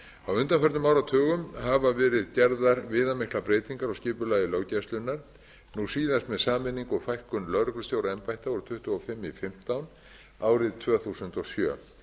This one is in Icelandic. á undanförnum áratugum hafa verið gerðar viðamiklar breytingar á skipulagi löggæslunnar nú síðast með fækkun og sameiningu lögreglustjóraembætta úr tuttugu og fimm í fimmtán árið tvö þúsund og sjö